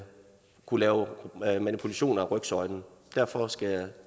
kunne lave manipulation af rygsøjlen derfor skal jeg